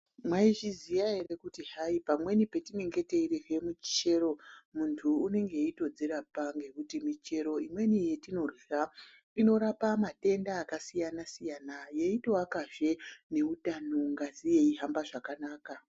Maizviziyaa ere kuti hayi, pamweni petinenge tichidywe michero muntu unenge echitozvirapa ngekuti michero imweni yetinodyaa inorapa madendaa akasiyana -siyana eitoakazve neutano, ngazi yeitofamba zvakanaka.